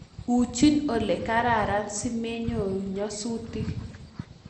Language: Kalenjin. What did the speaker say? Uchi ole kararan simenyoru nyasutik